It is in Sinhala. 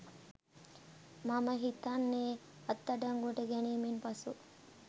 මම හිතන්නෙ අත්අඩංගුවට ගැනීමෙන් පසු